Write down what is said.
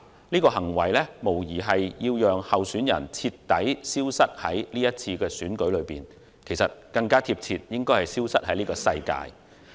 此行為無疑是要令候選人徹底消失於今次選舉，又或更貼切的是消失於這個世界。